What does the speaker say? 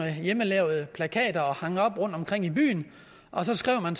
hjemmelavede plakater som man hang op rundtomkring i byen og så skrev man